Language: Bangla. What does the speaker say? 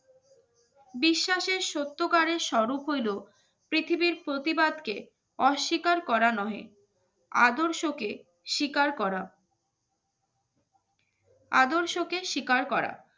বিশ্বাসের সত্যিকারের স্বরূপ হইল পৃথিবীর প্রতিবাদকে অস্বীকার করানো হয়, আদর্শকে স্বীকার করা আদর্শকে স্বীকার করা